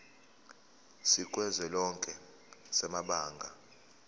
sikazwelonke samabanga r